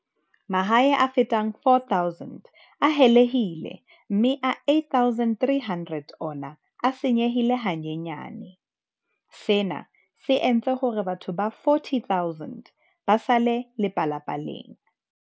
Mahae a fetang 4 000 a helehile mme a 8 300 ona a senyehile hanyenyane, sena se entse hore batho ba 40 000 ba sale lepalapaleng.